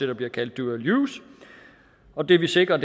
der bliver kaldt dual use og det vi sikrer